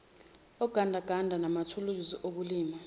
ogandaganda manathuluzi okulima